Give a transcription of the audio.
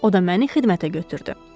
O da məni xidmətə götürdü.